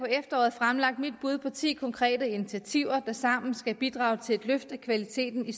fremlagt mit bud på ti konkrete initiativer der sammen skal bidrage til et løft af kvaliteten i